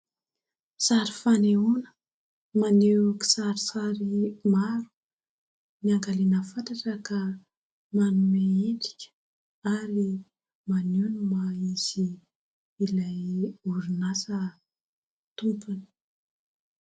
Sary fanehoana maneho kisarisary maro, niangaliana fatratra ka manome endrika ary maneho ny maha-izy ilay orinasa tompony.